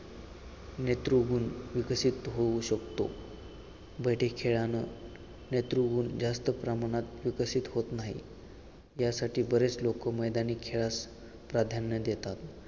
नेतृगुण विकसित होऊ शकतो. बैठे खेळान नेतृगुण जास्त प्रमाणात विकसित होत नाही यासाठी बरेच लोक मैदानी खेळास प्राधान्य देतात